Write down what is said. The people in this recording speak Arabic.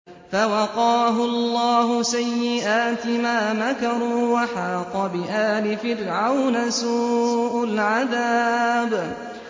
فَوَقَاهُ اللَّهُ سَيِّئَاتِ مَا مَكَرُوا ۖ وَحَاقَ بِآلِ فِرْعَوْنَ سُوءُ الْعَذَابِ